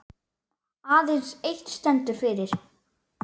Aðeins eitt stendur eftir.